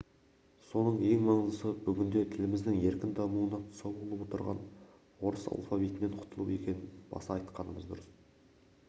соның ең маңыздысы бүгінде тіліміздің еркін дамуына тұсау болып отырған орыс алфавитінен құтылу екенін баса айтқанымыз дұрыс